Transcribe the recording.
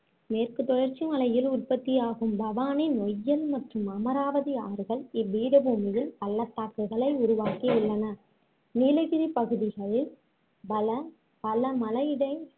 மேற்கு தொடர்ச்சி மலையில் உற்பத்தியாகும் பவானி, நொய்யல் மற்றும் அமராவதி ஆறுகள் இப்பீடபூமியில் பள்ளத்தாகுகளை உருவாக்கி உள்ளன நீலகிரி பகுதிகளில் பல பல மலையிடை